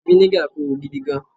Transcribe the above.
viniga Koro gidi gan